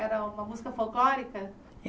Era uma música folclórica?